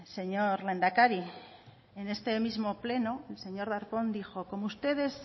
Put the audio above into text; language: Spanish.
señor lehendakari en este mismo pleno el señor darpón dijo como ustedes